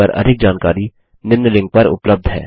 इस पर अधिक जानकारी निम्न लिंक पर उपलब्ध है